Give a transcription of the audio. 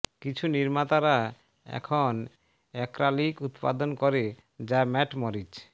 কিছু নির্মাতারা এখন এক্রাইলিক উত্পাদন করে যা ম্যাট মরিচ